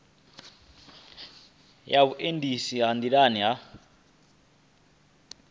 ya vhuendisi ha nḓilani ha